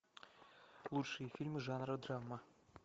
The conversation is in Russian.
лучшие фильмы жанра драма